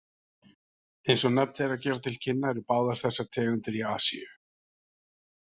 Eins og nöfn þeirra gefa til kynna eru báðar þessar tegundir í Asíu.